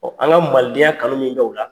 Ɔn an kaalidenya kanu min bɛ u la